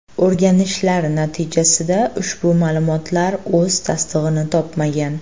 O‘rganishlar natijasida ushbu ma’lumotlar o‘z tasdig‘ini topmagan.